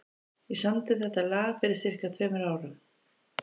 Ég samdi þetta lag fyrir sirka tveimur árum.